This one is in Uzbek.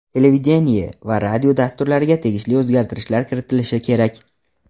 televideniye va radio dasturlariga tegishli o‘zgartirishlar kiritilishi kerak.